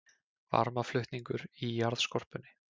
Varmaflutningur í jarðskorpunni